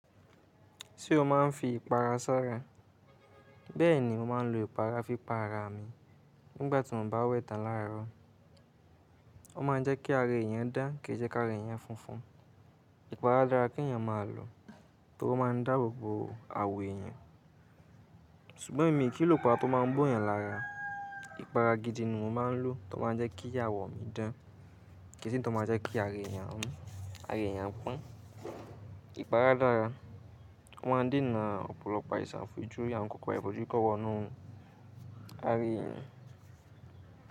Ṣé o máa ń fi ìpara sara? Bẹ́ẹ̀ni, mo máa ń lo ìpara fi para mi nígbà tí mo bá wẹ tán láàárọ̀. Ó ma ń jẹ́ kí ààra èèyàn dán, kì í jẹ́ káàra èèyàn funfun. Ìpara dára kí èèyàn máa lọ, torí ó máa ń dáàbò bo àwọ̀ èèyàn. Ṣùgbọ́n èmi kì í lò ìpara tó máa ń bó èèyàn lára. Ìpara gidi ni mo máa ń lò tó máa ń jẹ́ kí àwọ̀ mi dán, kì í ṣe i tó máa ń jẹ́ kí ààra èèyàn hun, ààra èèyàn pọ́n. Ìpara dára. Wọ́n dènà ọ̀pọ̀lọpọ̀ àìsàn fo ojúri, àwọn ǹkankan yẹn, kò jẹ́ kí wọ́n wọnú ààrẹ èèyàn.